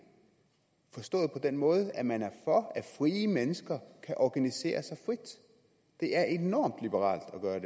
forstået på den måde at man er for at frie mennesker kan organisere sig frit det er enormt liberalt at gøre